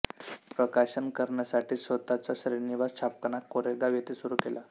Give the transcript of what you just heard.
प्रकाशन करण्यासाठी स्वतःचा श्रीनिवास छापखाना कोरेगाव येथे सुरू केला